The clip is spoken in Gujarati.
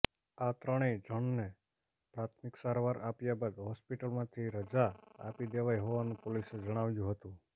આ ત્રણેય જણને પ્રાથમિક સારવાર આપ્યા બાદ હોસ્પિટલમાંથી રજા આપી દેવાઇ હોવાનું પોલીસે જણાવ્યું હતુ